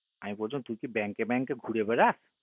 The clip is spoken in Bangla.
আমি বছিলাম তুই কি bank এ bank এ ঘুরেবেড়াস